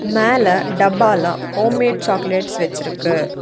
மேல டப்பாலா homemade chocolates வெச்சிருக்கு.